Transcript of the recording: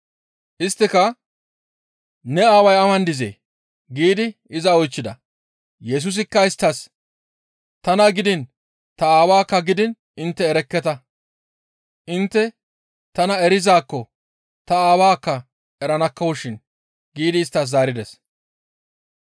Isttika, «Ne Aaway awan dizee?» giidi iza oychchida. Yesusikka isttas, «Tana gidiin ta aawaakka gidiin intte erekketa; intte tana erizaakko ta Aawaakka eranakkoshin» giidi isttas zaarides.